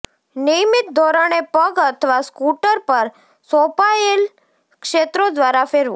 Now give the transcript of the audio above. નિયમિત ધોરણે પગ અથવા સ્કૂટર પર સોંપાયેલ ક્ષેત્રો દ્વારા ફેરવો